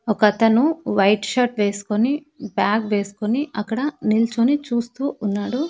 ఒకతను white shirt వేసుకొని bag వేసుకొని అక్కడ నిల్చోని చూస్తూ ఉన్నాడు.